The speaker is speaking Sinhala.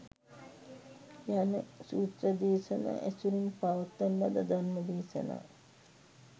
යන සූත්‍ර දේශනා ඇසුරෙන් පවත්වන ලද ධර්ම දේශනා